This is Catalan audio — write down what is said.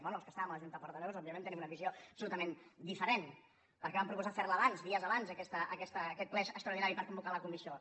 bé els que estàvem a la junta de portaveus òbviament tenim una visió absolutament diferent perquè vam proposar ferlo abans dies abans aquest ple extraordinari per convocar la comissió